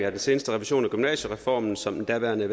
af den seneste revision af gymnasiereformen som den daværende